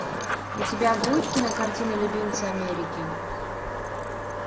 у тебя будет кинокартина любимцы америки